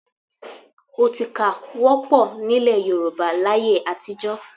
Ọtíkà wọ́pọ̀ nílẹ̀ Yorùbá láyé àtijọ́